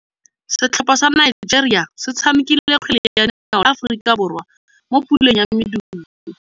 Setlhopha sa Nigeria se tshamekile kgwele ya dinaô le Aforika Borwa mo puleng ya medupe.